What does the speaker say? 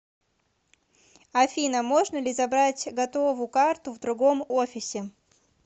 афина можно ли забрать готову карту в другом офисе